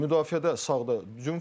Müdafiədə sağda Dumfries.